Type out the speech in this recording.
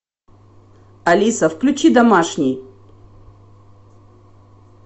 алиса включи домашний